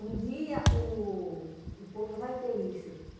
Um dia o o povo vai ter isso.